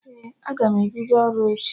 Ee, aga m ebido ọrụ echi